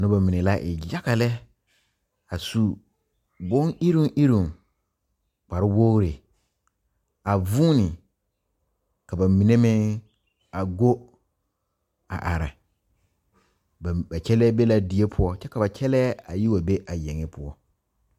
Nobɔ mine la e yaga lɛ a su bon iruŋiruŋ kpare wogre a vuune ka ba mine meŋ a go a are ba kyɛlɛɛ be la die poɔ kyɛ ka ba kyɛlɛɛ a yi wa be a yeŋe poɔ.